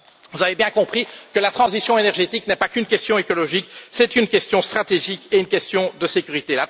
Vous avez bien compris que la transition énergétique n'est pas qu'une question écologique, c'est aussi une question stratégique et une question de sécurité.